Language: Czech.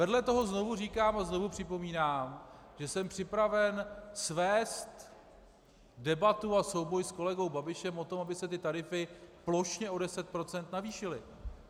Vedle toho znovu říkám a znovu připomínám, že jsem připraven svést debatu a souboj s kolegou Babišem o tom, aby se ty tarify plošně o 10 % navýšily.